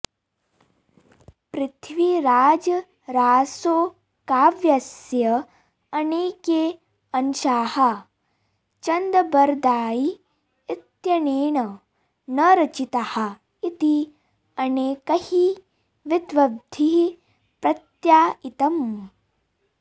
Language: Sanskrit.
पृथ्वीराजरासोकाव्यस्य अनेके अंशाः चन्दबरदायी इत्यनेन न रचिताः इति अनेकैः विद्वद्भिः प्रत्यायितम्